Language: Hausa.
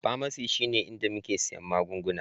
Pharmacy shine inda muke siyan magunguna